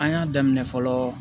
An y'a daminɛ fɔlɔ